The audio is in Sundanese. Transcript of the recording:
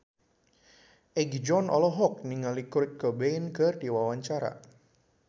Egi John olohok ningali Kurt Cobain keur diwawancara